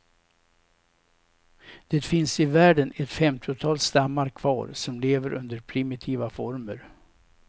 Det finns i världen ett femtiotal stammar kvar som lever under primitiva former.